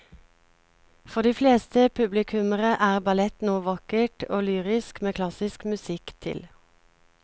For de fleste publikummere er ballett noe vakkert og lyrisk med klassisk musikk til.